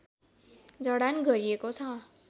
जडान गरिएको छ